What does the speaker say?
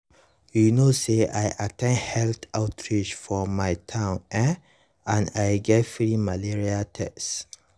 you know say i at ten d health outreach for my town eh and i get free malaria tests.